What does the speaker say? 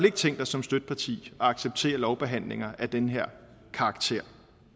ikke tænkt os som støtteparti at acceptere lovbehandlinger af den her karakter